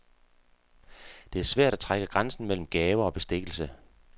Det er svært at trække grænsen mellem gaver og bestikkelse.